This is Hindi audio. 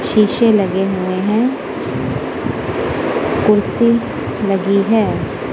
शीशे लगे हुए हैं। कुर्सी लगी है।